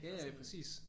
Ja ja præcis